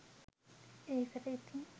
ඒකට ඉතින්